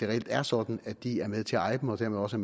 reelt er sådan at de er med til at eje dem og dermed også